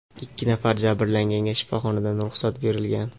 Ikki nafar jabrlanganga shifoxonadan ruxsat berilgan.